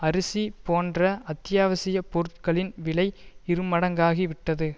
அரிசி போன்ற அத்தியாவசிய பொருட்களின் விலை இருமடங்காகி விட்டது